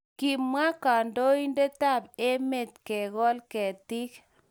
Kimwa kandoindetab emet kegol ketik